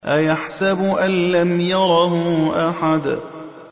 أَيَحْسَبُ أَن لَّمْ يَرَهُ أَحَدٌ